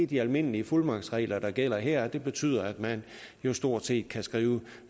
de almindelige fuldmagtsregler der gælder her og det betyder at man jo stort set kan skrive